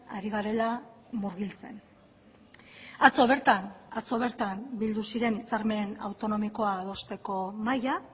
ari garela murgiltzen atzo bertan atzo bertan bildu ziren hitzarmen autonomikoa adosteko mahaia